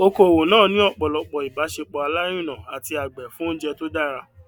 oko òwò náà ní ọpọlọpọ ìbáṣepọ alárinà àti àgbẹ fún oúnjẹ tó dára